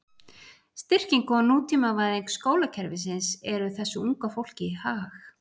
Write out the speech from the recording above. Styrking og nútímavæðing skólakerfisins er þessu unga fólki í hag.